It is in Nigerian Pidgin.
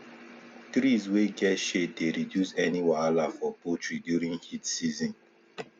trees wey get shade dey reduce any wahala for poultry during heat season